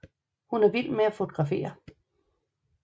Hun er vild med at fotografere